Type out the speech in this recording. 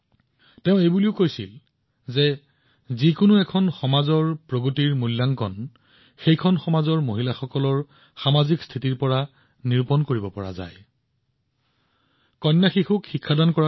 তেওঁ এইটোও কৈছিল যে সেই সমাজত মহিলাৰ স্থিতি প্ৰত্যক্ষ কৰি যিকোনো সমাজৰ বিকাশ মূল্যায়ন কৰিব পাৰি